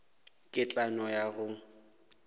ke tla no ya go